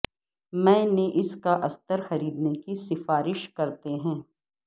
میں نے اس کا استر خریدنے کی سفارش کرتے ہیں